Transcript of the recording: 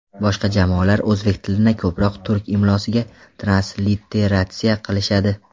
Boshqa jamoalar o‘zbek tilini ko‘proq turk imlosiga transliteratsiya qilishadi.